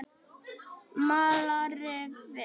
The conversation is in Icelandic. Malarrifi